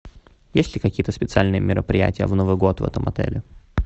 есть ли какие то специальные мероприятия в новый год в этом отеле